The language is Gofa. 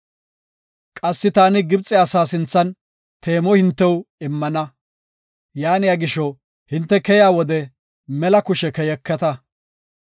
“Qassi taani Gibxe asaa sinthan teemo hintew immana. Yaaniya gisho hinte keyiya wode mela kushe keyeketa.